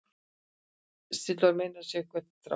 Sitt vill meinið sérhvern þjá.